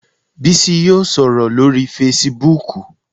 Bísí yóò sọ̀rọ̀ lórii fesibúùkù